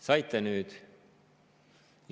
Saite nüüd!